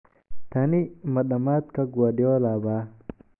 Tani ma dhammaadka Guardiola ba ?